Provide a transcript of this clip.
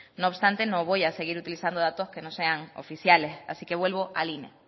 no obstante no voy a seguir utilizando datos que no sea oficiales así que vuelvo al ine